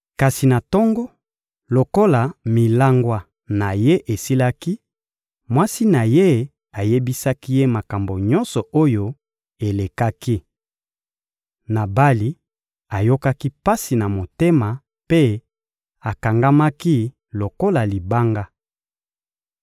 Kasi na tongo, lokola milangwa na ye esilaki, mwasi na ye ayebisaki ye makambo nyonso oyo elekaki. Nabali ayokaki pasi na motema mpe akangamaki lokola libanga.